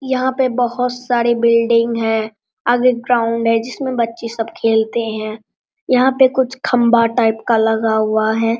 यहां पे बहुत सारे बिल्डिंग है आगे ग्राउंड है जिसमें बच्चे सब खेलते हैं यहां पे कुछ खंभा टाइप का लगा हुआ है।